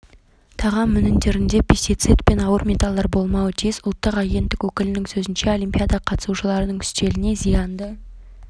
тағам өнімдерінде пестицид пен ауыр металлдар болмауы тиіс ұлттық агенттік өкілінің сөзінше олимпиада қатысушыларының үстеліне зиянды